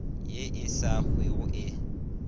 ye e sa hwego e